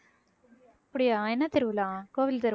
அப்படியா என்ன திருவிழா கோவில்